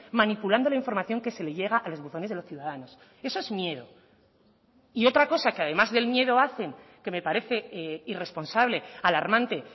manipulando la información que se le llega a los buzones de los ciudadanos eso es miedo y otra cosa que además del miedo hacen que me parece irresponsable alarmante